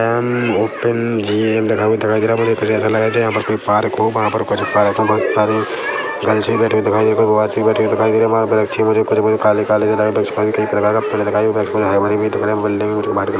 अम्म open gym लिखा हुआ दिखाई दे रहा है मुझे कुछ ऐसा लग रहा है यहाँ पास कोई पार्क हो वहाँ पर कुछ पार्क में बहुत सारी गर्ल्स भी बैठे हुए दिखाई दे बॉय्ज़ भी बैठे हुए दिखाई दे रहे है वहाँ वृक्ष भी मुझे कुछ मुझे काले-काले वृक्ष में भी कई प्रकार का पेड़ दिखाई बिल्कुल हरे-भरे भी दिख रहे है बिल्डिंग भी मुझको व्हाइट कलर --